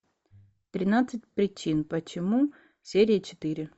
тринадцать причин почему серия четыре